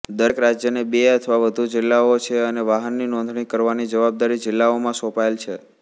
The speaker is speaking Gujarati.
દરેક રાજ્યને બે અથવા વધુ જિલ્લાઓ છેઅને વાહનનીં નોંધણી કરવાની જવાબદારી જિલ્લાઓમાં સોંપાયેલ છે